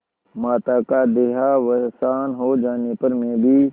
माता का देहावसान हो जाने पर मैं भी